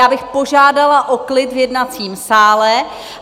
Já bych požádala o klid v jednacím sále.